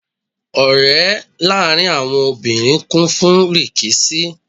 Ọ̀rẹ́ láàrín àwọn obìnrin kún fún rìkíṣí.